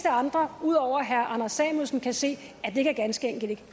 andre ud over herre anders samuelsen kan se at det ganske enkelt ikke